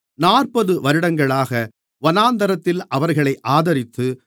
நாற்பது வருடங்களாக வனாந்திரத்தில் அவர்களை ஆதரித்து